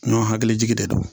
Ɲɔ hakili jigi de do